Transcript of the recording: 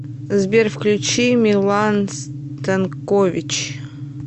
сбер включи милан станкович